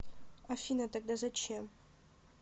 афина тогда зачем